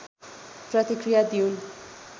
प्रतिक्रिया दिउन्